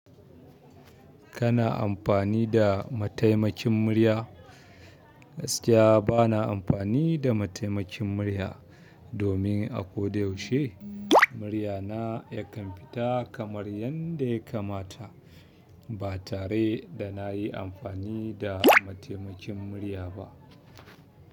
Kana amfani da mataimakin murya? Gaskiya bana amfani da mataimakin murya, domin a ko da yaushe muryana yakan fita kamar yadda ya kamata, ba tare da na yi amfani da mataimakin murya ba.